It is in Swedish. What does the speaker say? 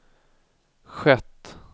skett